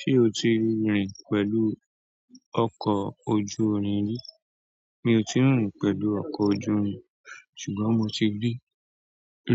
Ṣé o ti rìn pẹ̀lú ọkọ̀ ojú-irin rí? Mi ò ti rìn pẹ̀lú ọkọ̀ ojú-irin, ṣùgbọ́n mo ti rí